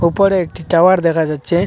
ওপরে একটি টাওয়ার দেখা যাচ্ছে।